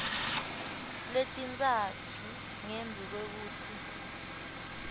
letintsatfu ngembi kwekutsi